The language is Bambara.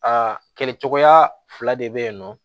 Aa kɛcogoya fila de bɛ yen nɔ